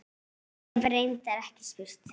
Hef reyndar ekki spurt.